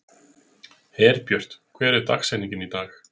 Herbjört, hver er dagsetningin í dag?